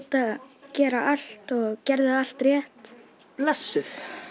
að gera allt og gerðu allt rétt